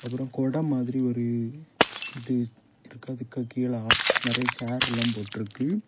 அப்புறம் கொட மாதிரி ஒரு இது இருக்கு. அதுக்கு கீழ ஆட் நெறைய செயிர் எல்லாம் போட்ருக்கு.